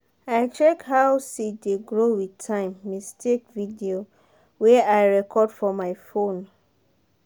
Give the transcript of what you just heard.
that chicken rearing house adjust heat by himself on top of how the chick movement and weather.